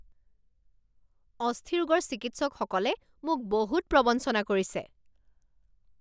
অস্থিৰোগৰ চিকিৎসকসকলে মোক বহুত প্ৰৱঞ্চনা কৰিছে